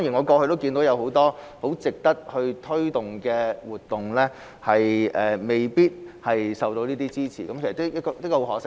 過去很多值得推動的活動未必獲得支持，實在十分可惜。